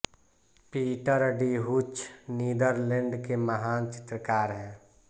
Peter de Hooch Netherland के महान चित्रकार हैं